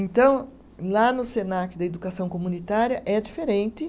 Então, lá no Senac da educação comunitária é diferente.